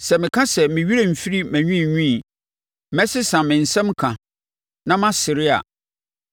Sɛ meka sɛ, ‘Me werɛ mfiri mʼanwiinwii, mɛsesa me nsɛm ka, na masere a,’